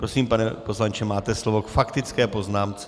Prosím, pane poslanče, máte slovo k faktické poznámce.